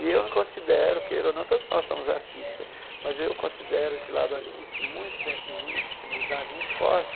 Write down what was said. E eu considero queira ou não, todos nós somos artistas, mas eu considero esse lado artístico muito dentro de mim, a sensibilidade muito forte,